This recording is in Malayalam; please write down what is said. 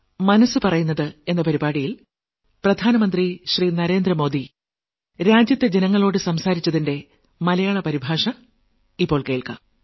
മനസ്സ് പറയുന്നത് നാൽപ്പത്തിരണ്ടാം ലക്കം